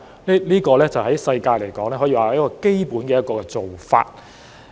在國際上來說，這可說是基本的做法。